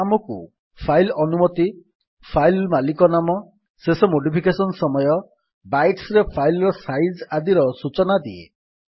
ଏହା ଆମକୁ ଫାଇଲ୍ ଅନୁମତି ଫାଇଲ୍ ମାଲିକ ନାମ ଶେଷ ମୋଡିଫିକେଶନ୍ ସମୟ ବାଇଟ୍ସ ରେ ଫାଇଲ୍ ର ସାଇଜ୍ ଆଦିର ସୂଚନା ଦିଏ